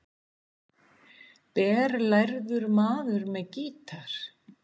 BERLÆRAÐUR MAÐUR MEÐ GÍTAR